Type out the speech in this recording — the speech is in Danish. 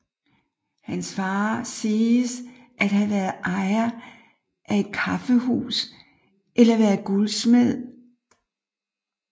Hans far siges at have været ejer af et kaffehus eller være guldsmed